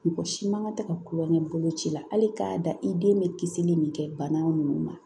Mɔgɔ si man kan ka tɛ ka kulon kɛ bolo ci la hali k'a da i den bɛ kisili min kɛ bana ninnu ma